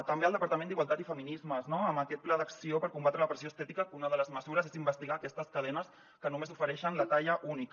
també el departament d’igualtat i feminismes no amb aquest pla d’acció per combatre la pressió estètica que una de les mesures és investigar aquestes cadenes que només ofereixen la talla única